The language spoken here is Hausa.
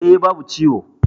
E. babu ciwo.